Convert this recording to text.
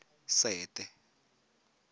sete